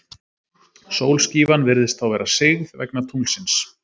Sólskífan virðist þá vera sigð, vegna tunglsins.